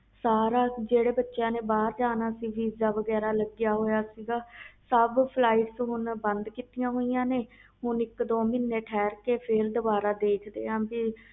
ਸਾਰੇ ਜਿਹੜੇ ਬੱਚਿਆਂ ਨੇ ਭਾਰ ਜਾਣਾ ਸੀ ਵੀਜ਼ਾ ਲੱਗਿਆ ਹੋਇਆ ਸੀ ਸਬ flight ਬੰਦ ਕੀਤੀਆਂ ਹੋਇਆ ਆ ਹੁਣ ਇਕ ਦੋ ਮਹੀਨੇ ਰੁਕ ਕੇ ਦੇਖ ਦੇ ਆ